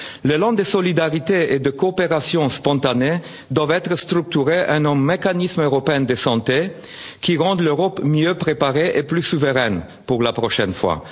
partager. L'élan de solidarité et de coopération spontanée doit être structuré en un mécanisme européen de santé qui rende l'Europe mieux préparée et plus souveraine pour la prochaine